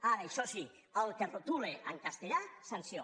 ara això sí el que retola en castellà sanció